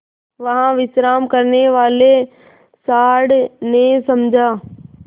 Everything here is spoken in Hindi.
वहाँ विश्राम करने वाले सॉँड़ ने समझा